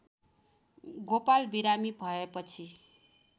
गोपाल बिरामी भएपछि